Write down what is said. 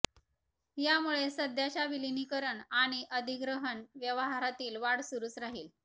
यामुळे सध्याच्या विलीनीकरण आणि अधिग्रहण व्यवहारातील वाढ सुरूच राहील